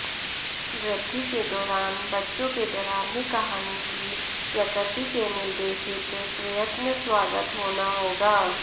वृद्धि के दौरान बच्चों के डरावनी कहानी की प्रकृति के निर्देशित पर्यटन स्वागत होना होगा